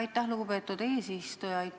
Aitäh, lugupeetud eesistuja!